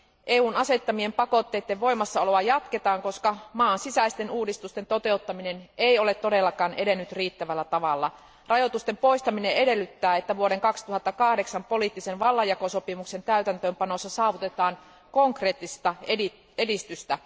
EUn asettamien pakotteiden voimassaoloa jatketaan, koska maan sisäisten uudistusten toteuttaminen ei ole todellakaan edennyt riittävällä tavalla. Rajoitusten poistaminen edellyttää, että vuoden 2008 poliittisen vallanjakosopimuksen täytäntöönpanossa saavutetaan konkreettista edistystä.